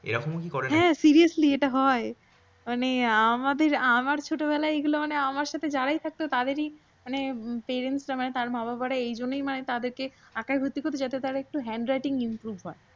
এরকম কি করে নাকি? হ্যাঁ seriously এটা হয়। মানে আমাদের আমার ছোটবেলায় এইগুলো মানে আমার সাথে জারাই থাকতো তাদেরই মানে parents তার বাবা মায়েরা এইজন্যই মানে তাদেরকে আঁকায় ভর্তি করত যাতে তাদের hand writing improve হয়।